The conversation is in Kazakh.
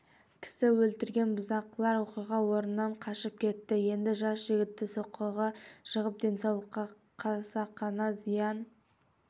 кісі өлтірген бұзақылар оқиға орнынан қашып кетті енді жас жігітті соққығы жығып денсаулыққа қасақана зиян